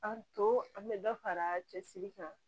An to an bɛ dɔ fara cɛsiri kan